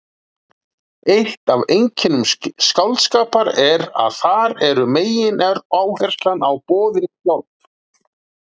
eitt af einkennum skáldskapar er að þar er megináherslan á boðin sjálf